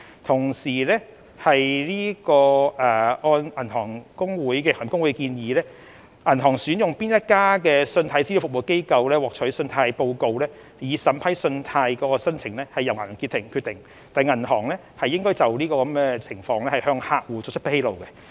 此外，按行業公會的建議，銀行向哪一家信貸資料服務機構索取信貸報告以審批信貸申請，是由銀行決定的，而銀行亦應向客戶作出相關披露。